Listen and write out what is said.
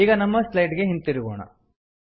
ಈಗ ನಮ್ಮ ಸ್ಲೈಡ್ ಗೆ ಹಿಂದಿರುಗೋಣ